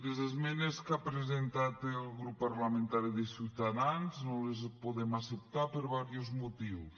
les esmenes que ha presentat el grup parlamentari de ciutadans no les podem acceptar per diversos motius